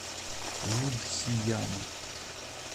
лудхияна